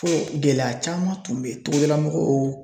Ko gɛlɛya caman tun bɛ togodala mɔgɔw